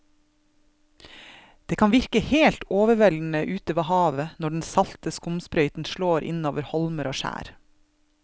Det kan virke helt overveldende ute ved havet når den salte skumsprøyten slår innover holmer og skjær.